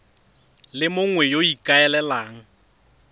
le mongwe yo o ikaelelang